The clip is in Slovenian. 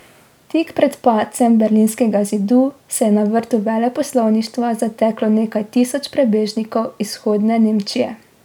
Tik pred padcem Berlinskega zidu se je na vrt veleposlaništva zateklo nekaj tisoč prebežnikov iz Vzhodne Nemčije.